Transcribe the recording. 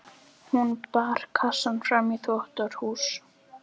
Hún bar kassann fram í þvottahús.